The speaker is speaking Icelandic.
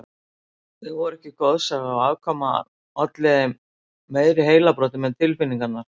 Þau voru ekki goðsaga og afkoman olli þeim meiri heilabrotum en tilfinningarnar.